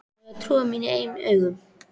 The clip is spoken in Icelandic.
Á ég að trúa mínum eigin augum?